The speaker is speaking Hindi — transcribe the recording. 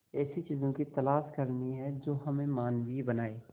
ऐसी चीजों की तलाश करनी है जो हमें मानवीय बनाएं